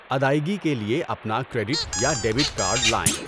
ادائیگی کے لیے اپنا کریڈٹ یا ڈیبٹ کارڈ لائیں۔